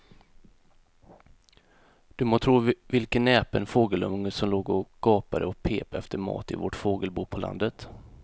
Du må tro vilken näpen fågelunge som låg och gapade och pep efter mat i vårt fågelbo på landet.